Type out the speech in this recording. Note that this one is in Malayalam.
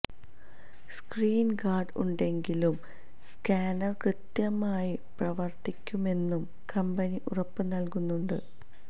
സ്ക്രീന് ഗാര്ഡ് ഉണ്ടെങ്കിലും സ്കാനര് കൃത്യമായി പ്രവര്ത്തിക്കുമെന്നും കമ്പനി ഉറപ്പ് നല്കുന്നുണ്ട്